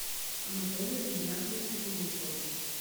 анатолию игнатьевичу кузнецову